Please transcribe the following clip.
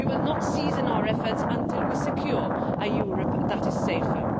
We will not cease in our efforts until we secure a Europe that is safer.